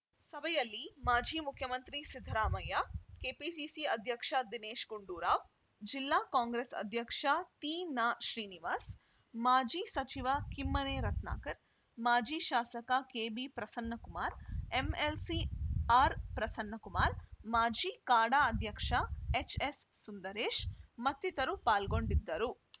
ಸಭೆಯಲ್ಲಿ ಮಾಜಿ ಮುಖ್ಯಮಂತ್ರಿ ಸಿದ್ಧರಾಮಯ್ಯ ಕೆಪಿಸಿಸಿ ಅಧ್ಯಕ್ಷ ದಿನೇಶ್‌ ಗುಂಡೂರಾವ್‌ ಜಿಲ್ಲಾ ಕಾಂಗ್ರೆಸ್‌ ಅಧ್ಯಕ್ಷ ತೀನಾಶ್ರೀನಿವಾಸ್‌ ಮಾಜಿ ಸಚಿವ ಕಿಮ್ಮನೆ ರತ್ನಾಕರ್‌ ಮಾಜಿ ಶಾಸಕ K B Prasannakumar MLC R Prasannakumar ಮಾಜಿ ಕಾಡಾ ಅಧ್ಯಕ್ಷ ಎಚ್‌ ಎಸ್‌ ಸುಂದರೇಶ್‌ ಮತ್ತಿತರರು ಪಾಲ್ಗೊಂಡಿದ್ದರು